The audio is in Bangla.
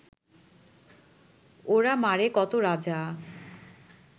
ওরা মারে কত রাজা